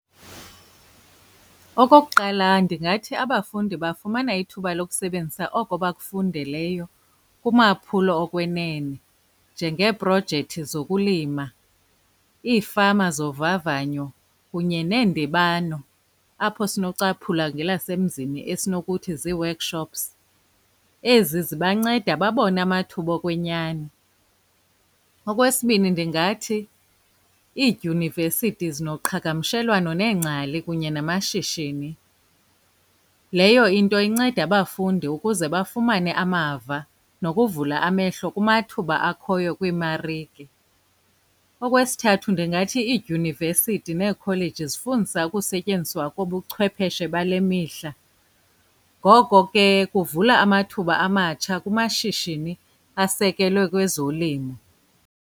Okokuqala, ndingathi abafundi bafumana ithuba lokusebenzisa oko bakufundeleyo kumaphulo okwenene njengeeprojekthi zokulima, iifama zovavanyo, kunye neendibano apho sinocaphula ngelasemzini esinokuthi zii-workshops. Ezi zibanceda babone amathuba okwenyani. Okwesibini, ndingathi iidyunivesithi zinoqhagamshelwano neengcali kunye namashishini. Leyo into inceda abafundi ukuze bafumane amava nokuvula amehlo kumathuba akhoyo kwiimarike. Okwesithathu, ndingathi iidyunivesithi neekholeji zifundisa ukusetyenziswa kobuchwepheshe bale mihla, ngoko ke kuvula amathuba amatsha kumashishini asekelwe kwezolimo.